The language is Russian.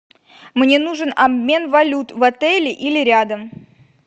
мне нужен обмен валют в отеле или рядом